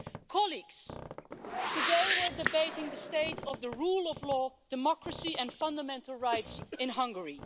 Colleagues, today we are debating the state of the rule of law, democracy and fundamental rights in Hungary.